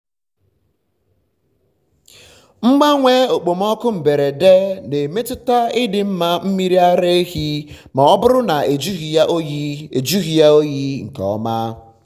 mgbanwe okpomọkụ mberede na-emetụta ịdị mma mmiri ara ma ọ bụrụ na ejughị ya oyi ejughị ya oyi nke ọma.